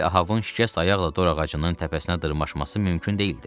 Digər Ahabın şikəst ayaqla dorağacının təpəsinə dırmaşması mümkün deyildi.